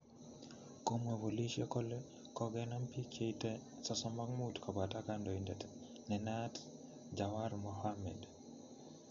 Komwa polisiek kole kogenam pik che ite 35 kopoto kondoindet nenayat Jawar Mohammed